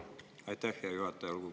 Aitäh, hea juhataja!